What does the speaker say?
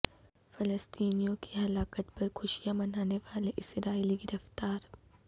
فلسطینیوں کی ہلاکت پر خوشیاں منانے والے اسرائیلی گرفتار